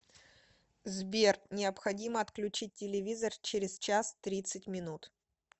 сбер необходимо отключить телевизор через час тридцать минут